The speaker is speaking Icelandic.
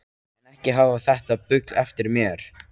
En ekki hafa þetta bull eftir mér